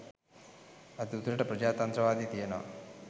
අද උතුරට ප්‍රජාතන්ත්‍රවාදය තියෙනව